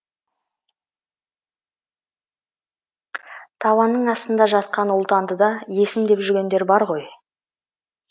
табанның астында жатқан ұлтанды да есім деп жүргендер бар ғой